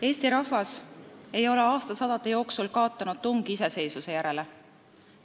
"Eesti rahvas ei ole aastasadade jooksul kaotanud tungi iseseisvuse järele.